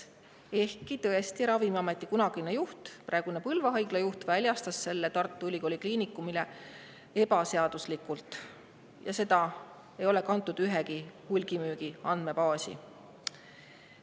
Ehkki tõesti, kunagine Ravimiameti juht, praegune Põlva Haigla juht on selle Tartu Ülikooli Kliinikumile ebaseaduslikult väljastanud ja seda ei ole kantud ühtegi hulgimüügi andmebaasi.